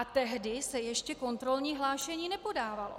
A tehdy se ještě kontrolní hlášení nepodávalo.